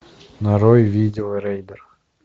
нарой видео рейдер